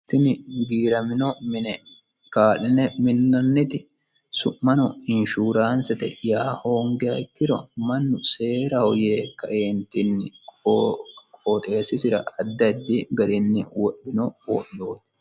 tini giiramino mine kaa'line minnanniti su'mano inshuraansete yaa hoonggiha ikkiro mannu seeraho yee kaentinni qoxessisira addi addi garinni wodhino wodhooti